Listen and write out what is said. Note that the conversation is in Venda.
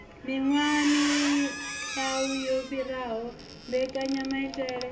miwaha miau yo fhiraho mbekanyamaitele